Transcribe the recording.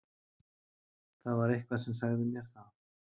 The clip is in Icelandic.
Það var eitthvað sem sagði mér það.